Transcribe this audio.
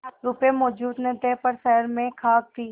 रुपये मौजूद न थे पर शहर में साख थी